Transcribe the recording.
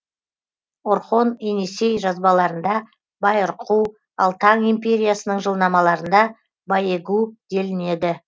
орхон енисей жазбаларында байырқу ал таң империясының жылнамаларында байегу делінеді